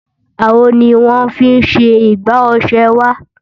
Àwo ni wọ́n fi ṣe igbá ọ̀ṣẹ wa